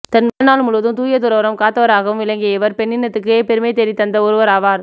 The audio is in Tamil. தன் வாழ்நாள் முழுவதும் தூயதுறவறம் காத்தவராகவும் விளங்கிய இவர் பெண்ணினத்துக்கே பெருமை தேடித் தந்த ஒருவராவார்